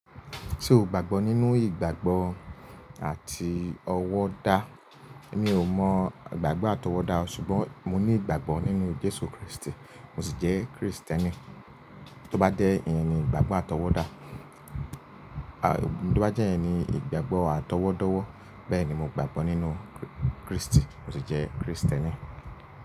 Ṣé o gbàgbọ́ nínú ìgbàgbọ́ àti ọ̀wọ̀ dá? Mi ò mọ ìgbàgbọ́ àtọwọ́dá ṣùgbọ́n mo ní ìgbàgbọ́ nínú Jésù Kristi, mo sì jẹ́ Krìstẹ́nì. Tí ó bá dé ìyẹn ní ìgbàgbọ́ àtọwọ́dá, tí ó bá jẹ́ ìyẹn ní ìgbàgbọ́ àtọwọ́dọ́wọ́, bẹ́ẹ̀ ni mo gbàgbọ́ nínú Kristi, mo sì jẹ́ Krìstẹ́nì.